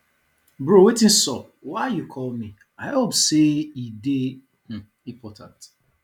bro wetin sup why you call me i hope say e dey um important